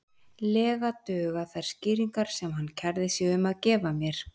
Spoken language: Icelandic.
lega duga þær skýringar sem hann kærði sig um að gefa mér.